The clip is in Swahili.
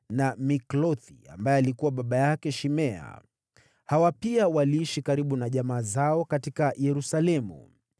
na Miklothi ambaye alikuwa baba yake Shimea. Hawa pia waliishi karibu na jamaa zao huko Yerusalemu.